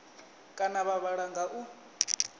kana vha vhala nga u